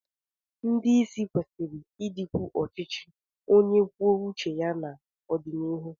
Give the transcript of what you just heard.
Ndị isi kwesịrị ịdịkwu ọchịchị onye kwuo uche ya n'ọdịnihu.